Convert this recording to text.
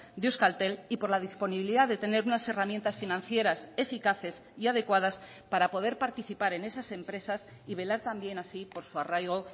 de euskaltel y por la disponibilidad de tener unas herramientas financieras eficaces y adecuadas para poder participar en esas empresas y velar también así por su arraigo